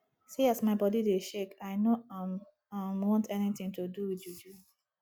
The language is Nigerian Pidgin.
see as my body dey shake i no um um want anything to do with juju